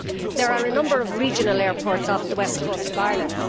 There are a number of regional airports on the west coast of Ireland.